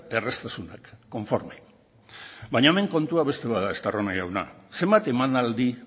erraztasunak konforme baina hemen kontua beste bat da estarrona jauna zenbat emanaldi